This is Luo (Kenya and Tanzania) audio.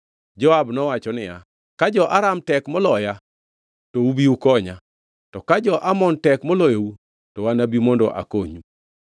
Joab nowacho niya, “Ka jo-Aram tek moloya, to ubi ukonya, to ka jo-Amon tek moloyou, to anabi mondo akonyi.